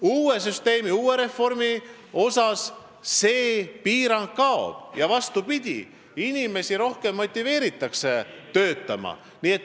Uue süsteemiga, uue reformiga see piirang kaob ja inimesi motiveeritakse rohkem töötama.